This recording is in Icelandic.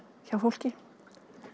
hjá fólki